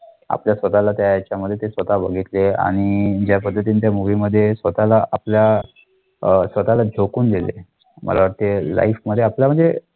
आपल्या स्वतःला त्या ह्याच्यामाध्ये ते स्वतः बघितले आणि ज्या पद्धतीने त्या movie स्वतःला आपल्या स्वतःला दिले, मला वाटते life मध्ये आपल्या म्हणजे